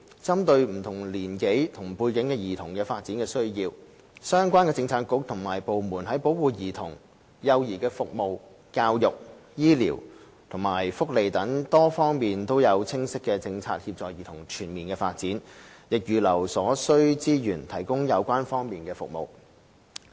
針對不同年齡及背景的兒童的發展需要，相關政策局及部門在保護兒童、幼兒服務、教育、醫療及福利等多方面都有清晰的政策協助兒童全面發展，亦預留所需資源提供相關服務。